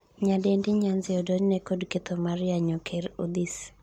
Nyadendi Nyanzi odonjne kod ketho mar yanyo ker Odhis